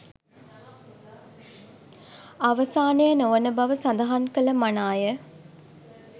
අවසානය නොවන බව සඳහන් කළ මනාය